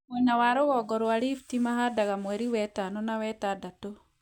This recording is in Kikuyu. Mwena wa North Rift mahandaga mweri wetano na wetandatũ